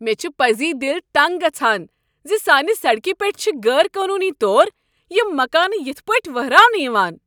مےٚ چھُ پزی دل تنگ گژھان زِسانہ سڑکہ پیٹھ چھ غیر قانونی طور یم مکانہٕ یتھ پٲٹھۍوہراونہٕ یوان ۔